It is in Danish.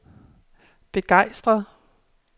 begejstret